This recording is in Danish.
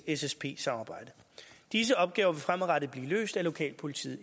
ssp samarbejde disse opgaver vil fremadrettet blive løst af lokalpolitiet